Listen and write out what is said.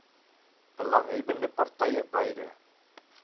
belanghebbbende partye beide